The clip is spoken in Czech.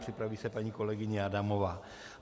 Připraví se paní kolegyně Adamová.